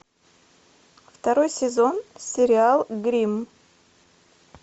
второй сезон сериал гримм